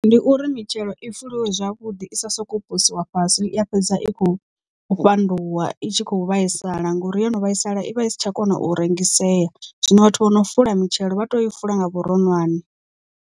Ndi uri mitshelo i fuliwe zwavhuḓi i sa soko posiwa fhasi ya fhedza i khou fhanduwa i tshi khou vhaisala ngori yo no vhaisala i vha i si tsha kona u rengisea, zwino vhathu vho no fula mitshelo vha tea u i fula nga vhuronwane.